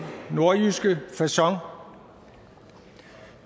nordjyske facon